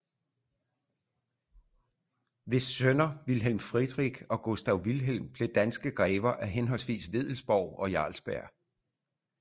Hvis sønner wilhelm friedrich og gustav wilhelm blev danske grever af henholdsvis wedellsborg og jarlsberg